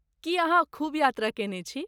की, अहाँ खूब यात्रा कयने छी?